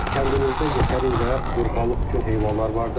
Kəndimizdə yetərincə qurbanlıq üçün heyvanlar vardır.